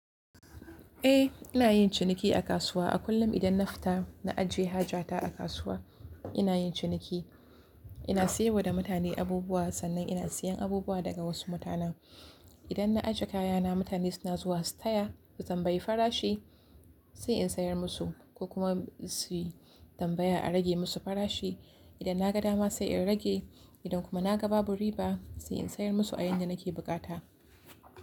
Eh, ina yin ciniki a kasuwa. A kullum idan na fita na ajiye haja ta a kasuwa, ina yin ciniki. Ina siyarwa da mutane abubuwa sannan ina siyan abubuwa daga wasu mutanen. Idan na ajiye kayana mutane suna zuwa su taya su tambayi farashi sai in sayar musu ko kuma su tambaya a rage musu farashi. Idan na ga dama sai in rage idan kuma na ga babu riba sai in sayar musu a yadda nake bukata.